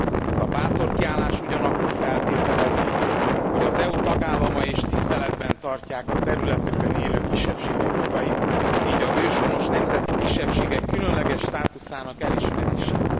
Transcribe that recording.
Ez a bátor kiállás ugyanakkor feltételezi, hogy az EU tagállamai is tiszteletben tartják a területükön élő kisebbségek jogait, így az őshonos nemzeti kisebbségek különleges státuszának elismerését.